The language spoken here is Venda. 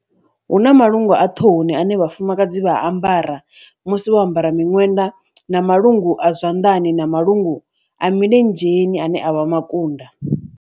Hu na malungu a ṱhohoni ane vhafumakadzi vha ambara musi vho ambara miṅwenda na Malungu a zwanḓani na malungu a milenzheni ane a vha makunda.